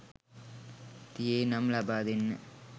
තියේ නම් ලබා දෙන්න.